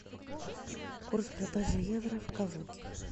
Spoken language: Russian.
курс продажи евро в калуге